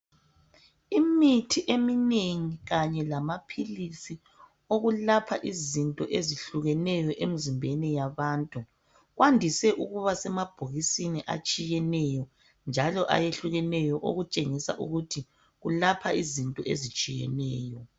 Imithi eminengi kanye lamaphilisi okulapha izinto ezihlukeneyo emzimbeni yabantu kwandise ukuba semabokisini atshiyeneyo njalo ayehlulekeneyo okutshengisa ukuthi kulapha izinto ezitshiyeneyo